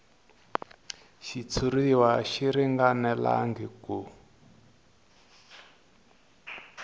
xitshuriwa a xi ringanelangi ku